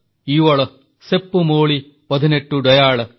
ଇୱଳ ସେପ୍ପୁ ମୋଳି ପଧିନେଟ୍ଟୁଡୈୟାଳ